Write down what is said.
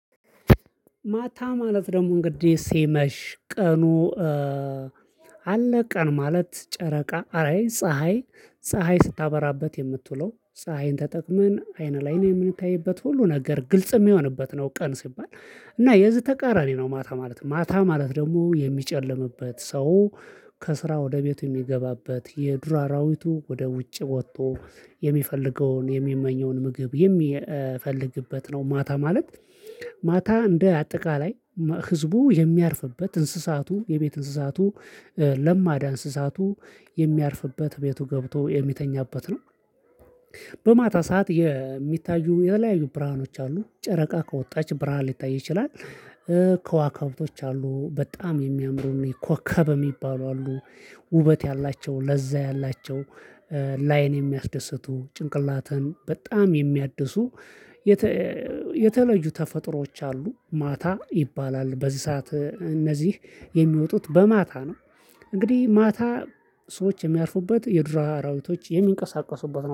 ማታ ማለት ደግሞ እንግዲህ ሲመሽ ቀኑ አለ። ቀን ማለት ጨረቃ አይ ፀሀይ ፀሀይ ስታበራበት የምትውለው ፀሀይን ተጠቅመን አይነ ላይ ነው የምንታይበት ሁሉ ነገር ግልጽ የሚሆንበት ነው። ቀን ሲባል። እና የዚህ ተቃራኒ ነው ማታ ማለት ማታ ማለት ደግሞ የሚጨልምበት ሰው። ከስራ ወደ ቤቱ የሚገባበት የዱር አራዊቱ ወደ ውጭ ወጥቶ የሚፈልገውን የሚመኘውን ምግብ የሚፈልግበት ነው። ማታ ማለት። ማታ እንደ አጠቃላይ ህዝቡ የሚያርፍበት እንስሳቱ የቤት እንስሳቱ ለማዳ እንስሳቱ የሚያርፍበት ቤቱ ገብቶ የሚተኛበት ነው። በማታ ሰዓት የሚታዩ የተለያዩ ብርሃኖች አሉ ጨረቃ ከወጣች ብርሃን ሊታይ ይችላል። ከዋካብቶች አሉ በጣም የሚያምሩን ኮከብ የሚባሉ አሉ። ውበት ያላቸው ለዛ ያላቸው ላይን የሚያስደስቱ ጭንቅላተን በጣም የሚያድሱ። የተለዩ ተፈጥሮዎች አሉ ማታ ይባላል። በዚህ ሰዓት እነዚህ የሚወጡት በማታ ነው። እንግዲህ ማታ ሰዎች የሚያርፉበት የዱር አራዊቶች የሚንቀሳቀሱበት ነው